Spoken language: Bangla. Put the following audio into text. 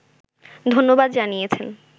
ধন্যবাদ জানিয়েছেন